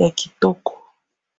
ya kitoko